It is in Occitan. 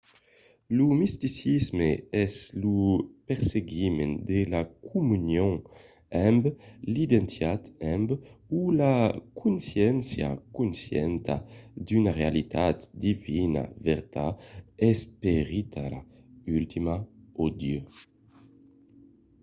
lo misticisme es lo perseguiment de la comunion amb de l'identitat amb o la consciéncia conscienta d'una realitat divinitat vertat esperitala ultima o dieu